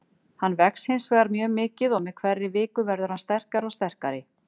Hann vex hinsvegar mjög mikið og með hverri viku verður hann sterkari og sterkari.